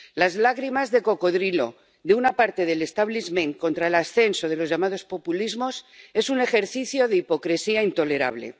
Las lágrimas de cocodrilo de una parte del establishment contra el ascenso de los llamados populismos es un ejercicio de hipocresía intolerable.